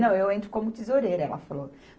Não, eu entro como tesoureira, ela falou.